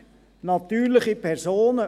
– Natürliche Personen.